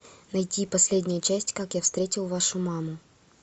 найти последнюю часть как я встретил вашу маму